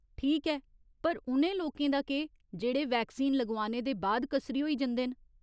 ठीक ऐ, पर उ'नें लोकें दा केह् जेह्ड़े वैक्सीन लगोआने दे बाद कसरी होई जंदे न ?